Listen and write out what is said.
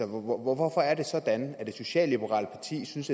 hvorfor er det sådan at et socialliberalt parti synes